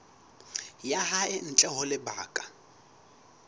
ya hae ntle ho lebaka